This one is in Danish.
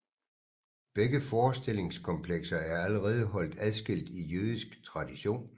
Begge forestillingskomplekser er allerede holdt adskilt i jødisk tradition